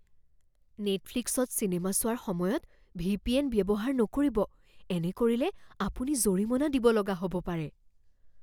নেটফ্লিক্সত চিনেমা চোৱাৰ সময়ত ভি.পি.এন. ব্যৱহাৰ নকৰিব। এনে কৰিলে আপুনি জৰিমনা দিব লগা হ'ব পাৰে।